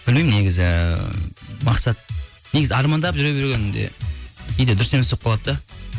білмеймін негізі мақсат негізі армандап жүре бергенде кейде дұрыс емес болып қалады да